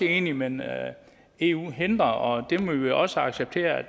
enige men at eu hindrer det det må vi også acceptere